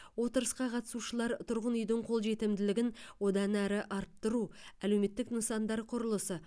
отырысқа қатысушылар тұрғын үйдің қолжетімділігін одан әрі арттыру әлеуметтік нысандар құрылысы